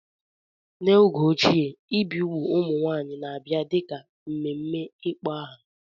N'oge ochie, ibi igbu ụmụ nwanyị na-abia dị ka mmemme ịkpọ aha.